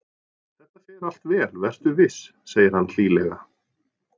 Þetta fer allt vel, vertu viss, segir hann hlýlega.